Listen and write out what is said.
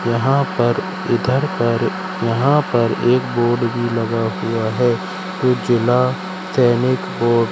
यहां पर इधर पर यहां पर एक बोर्ड भी लगा हुआ है उजला तैनिक बोर्ड ।